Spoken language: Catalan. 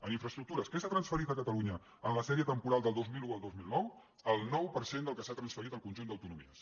en infraestructures què s’ha transferit a catalunya en la sèrie temporal del dos mil un al dos mil nou el nou per cent del que s’ha transferit al conjunt d’autonomies